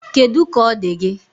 Kedụ ka ọ dị gị?